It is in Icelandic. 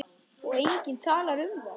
Og enginn talar um það!